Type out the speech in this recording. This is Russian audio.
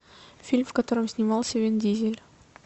фильм в котором снимался вин дизель